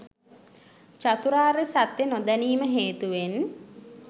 චතුරාර්ය සත්‍ය නොදැනීම හේතුවෙන්